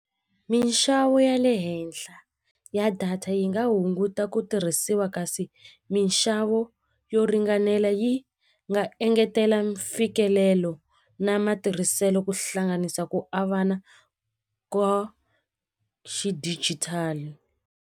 Minxavo ya le henhla ya data yi nga hunguta ku tirhisiwa kasi minxavo yo ringanela yi nga engetela mfikelelo na matirhiselo ku hlanganisa ku avana ka xidijitali.